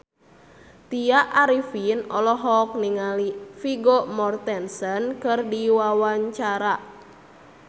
Tya Arifin olohok ningali Vigo Mortensen keur diwawancara